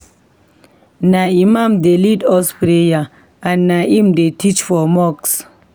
Na Imam dey lead us for prayer and na im dey teach for mosque.